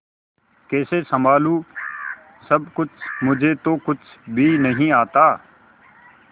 कैसे संभालू सब कुछ मुझे तो कुछ भी नहीं आता